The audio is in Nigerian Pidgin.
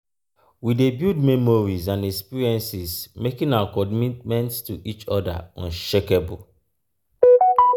we dey build memories and experiences making our commitment to each other unshakable.